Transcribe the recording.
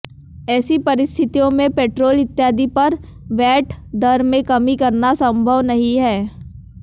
ऐसी परिस्थितियों में पैट्रोल इत्यादि पर वैट दर में कमी करना संभव नहीं है